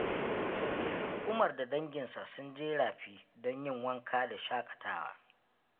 Umar da danginsa sun je rafi don yin wanka da shaƙatawa.